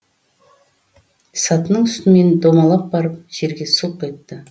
сатының үстімен домалап барып жерге сұлқ етті